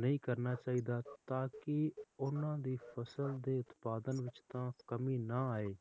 ਨਹੀਂ ਕਰਨਾ ਚਾਹੀਦਾ ਤਾਂਕਿ ਓਹਨਾ ਦੀ ਫਸਲ ਦੇ ਉਤਪਾਦਾਂ ਵਿਚ ਤਾ ਕਮੀ ਨਾ ਆਏ